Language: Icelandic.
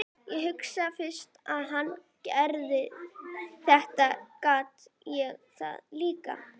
Ég hugsaði, fyrst hann getur þetta get ég það líka.